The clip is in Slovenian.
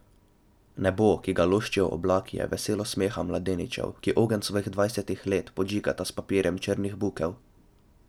Nebo, ki ga loščijo oblaki, je veselo smeha mladeničev, ki ogenj svojih dvajsetih let podžigata s papirjem črnih bukel.